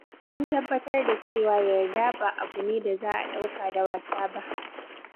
Sun tabbatar da cewa yarda ba abu ne da za a ɗauka da wasa ba.